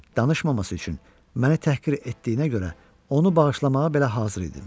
Danışmaması üçün mənə təhqir etdiyinə görə onu bağışlamağa belə hazır idim.